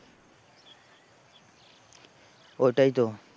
ওটাই তো।